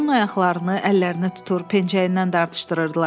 Onun ayaqlarını, əllərini tutur, pencəyindən dartışdırırdılar.